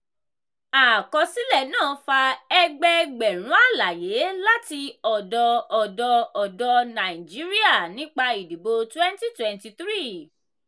àkọsílẹ̀ náà fa ẹgbẹẹgbẹ̀rún àlàyé láti ọdọ́ ọ̀dọ́ ọ̀dọ́ nàìjíríà nípa ìdìbò twenty twenty three